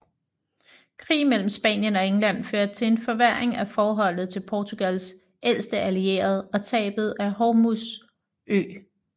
Krig mellem Spanien og England førte til en forværring af forholdet til Portugals ældste allierede og tabet af Hormuz Ø